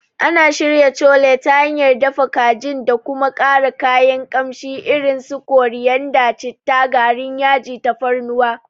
Ana shirya Chole ta hanyar dafa kajin da kuma ƙara kayan kamshi irin su koriyanda, citta, garin yaji, tafarnuwa.